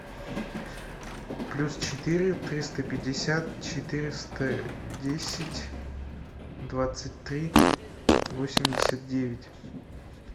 плюс четыре триста пятьдесят четыреста десять двадцать три восемьдесят девять